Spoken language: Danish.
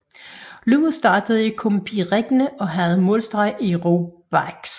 Løbet startede i Compiègne og havde målstreg i Roubaix